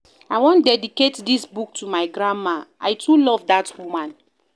I wan dedicate dis book to my grandma. I too love dat woman